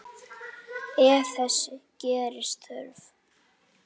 Ef þess gerist þörf